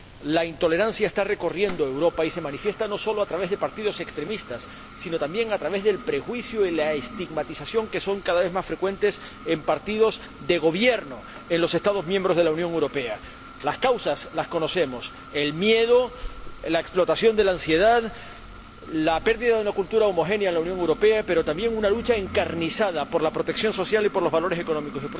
La intolerancia está recorriendo Europa y se manifiesta no solo a través de partidos extremistas, sino también a través del prejuicio y la estigmatización, que son cada vez más frecuentes en partidos de gobierno en los Estados miembros de la Unión Europea. Las causas las conocemos el miedo, la explotación de la ansiedad y la pérdida de una cultura homogénea en la Unión Europea, pero también una lucha encarnizada por la protección social y por los valores económicos.